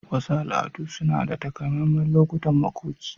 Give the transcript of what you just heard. Wasu al'adu suna da takamaiman lokutan makoki.